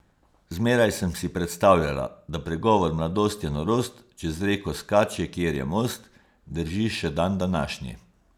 Zmeraj sem si predstavljala, da pregovor mladost je norost, čez reko skače, kjer je most, drži še dandanašnji.